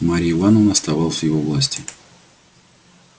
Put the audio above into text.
марья ивановна оставалась в его власти